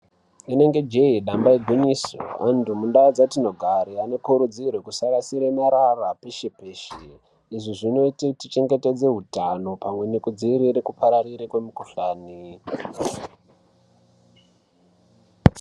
Inenge jeye kana dambe igwinyiso ndau dzatinogara vantu ngavakurudzirwe kuti vasarasha marara peshe peshe zvinoita kuti tichengetedze utano pamwe nekudziirira kupararira kwemukhuhlani.